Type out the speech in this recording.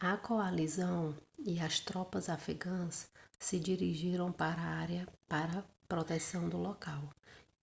a coalizão e as tropas afegãs se dirigiram para a área para proteção do local